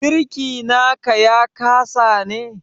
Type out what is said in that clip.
Birki na ka ya kasa ne?